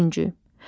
Dördüncü.